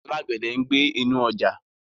Alágbẹ̀dẹ̀ ń gbẹ́ inú ọjà.